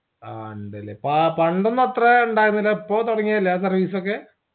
ആ ഇണ്ടല്ലേ പാ പണ്ടൊന്നുഅത്രേ ഇണ്ടായിരുന്നില്ല ഇപ്പൊ തുടങ്ങ്യതല്ലേ ആ service ഒക്കേ